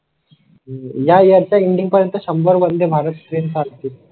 या याचा इंडियन पर्यंत शंभर वंदे भारत ट्रेन्स चालतील